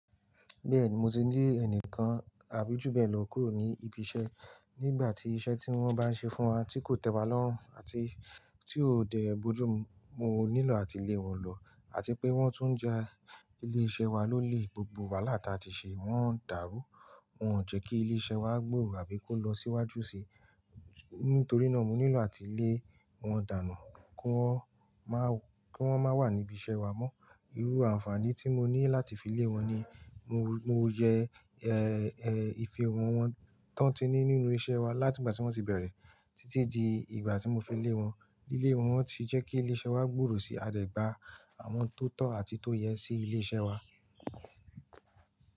Bẹ́ẹ̀ni mo ti le ẹnìkan àbí ju bẹ́ẹ̀ lọ kúrò ní ibi iṣẹ́. Nígbà tí iṣẹ́ tí wọ́n bá ṣe fún wa tí kò tẹ́ wa lọ́rùn àti tí ó dẹ̀e bojú mu, mo nílò àti lé wọn lọ. Àti pé wọ́n tún ń ja ilé iṣẹ́ wa lólè, gbogbo wàhálà tí a ti ṣe wọ́n ń dàrú. Wọn ò jẹ́ kí ilé iṣẹ́ wa gbòòrò àbí kó lọ síwájú ṣi. Nítorí náà mo nílò àti lé wọn dànù kí wọ́n má wà níbi iṣẹ́ wa mọ́. Irú àǹfààní tí mo ní láti fi lé wọn ni mo yẹ ìfihàn wọn tán tí ní nínú iṣẹ́ wa láti ìgbà tí wọ́n ti bẹ̀rẹ̀ títí di ìgbà tí mo fi lé wọn. Lílẹ̀ wọn ti jẹ́ kí ilé iṣẹ́ wa gbòòrò sí. A dẹ̀ gba àwọn tó tọ́ àti tó yẹ sí ilé iṣẹ́ wa.